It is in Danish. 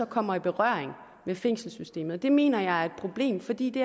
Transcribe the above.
kommer i berøring med fængselssystemet og det mener jeg er et problem fordi det